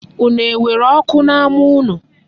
Unu nwere oku n'ama unu?